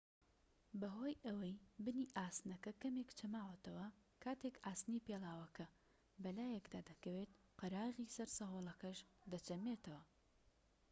بەهۆی ئەوەی بنی ئاسنەکە کەمێك چەماوەتەوە کاتێك ئاسنی پێڵاوەکە بەلایکەدا دەکەوێت قەراغی سەر سەهۆڵەکەش دەچەمێتەوە